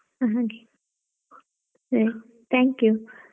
ಹಾ ಹಾಗೆ ಸರಿ thank you.